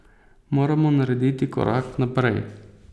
Moramo narediti korak naprej.